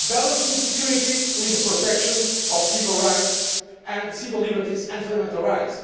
balancing security with the protection of civil liberties and fundamental rights.